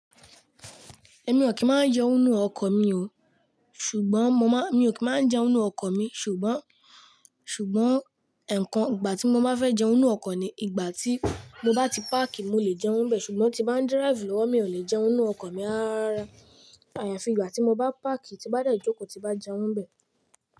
Èmi ò kí ń máa jẹun nínú ọkọ̀ mi o. Ṣùgbọ́n mo má-- mi ò kí máa njẹun nínú ọkọ̀ mi, ṣùgbọ́n, ṣùgbọ́n ẹ̀kan ìgbà tí mo bá fẹ́ jẹun nínú ọkọ̀ ni ìgbà tí mo bá ti páàkì, mo lè jẹun bẹ. Ṣùgbọ́n tí bá ń díráìfù lọ́wọ́, mi ò lè jẹun nínú ọkọ̀ mi rárá. Àyàfi ìgbà tí mo bá páàkì, tí bá de jòkó, tí bá jẹun bẹ.